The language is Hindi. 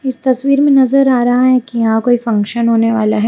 इस तस्वीर में नजर आ रहा है कि यहां कोई फंक्शन होने वाला है।